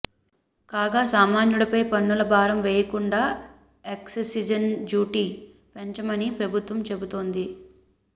కాగా సామాన్యుడిపై పన్నుల భారం వెయ్యకుండా ఎక్ససిజె డ్యూటీని పెంచమని ప్రభుత్వం చెబుతోంది